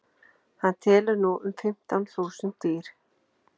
hann telur nú um fimmtán þúsund dýr